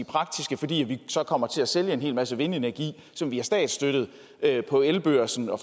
praktiske fordi vi så kommer til at sælge en hel masse vindenergi som vi har statsstøttet på elbørsen og